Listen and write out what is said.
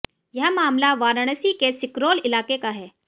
यह मामला वाराणसी के सिकरौल इलाके का है